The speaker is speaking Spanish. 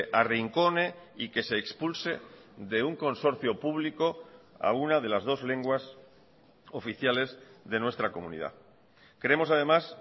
arrincone y que se expulse de un consorcio público a una de las dos lenguas oficiales de nuestra comunidad creemos además